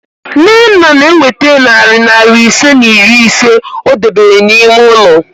Nnenna na-eweta narị naịra ise na iri ise o debere n'ime ụlọ